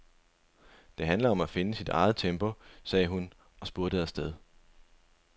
Det handler om at finde sit eget tempo, sagde hun og spurtede afsted.